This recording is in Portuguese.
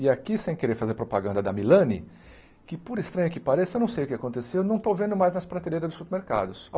E aqui, sem querer fazer propaganda da Milani, que por estranha que pareça, não sei o que aconteceu, não estou vendo mais nas prateleiras dos supermercados.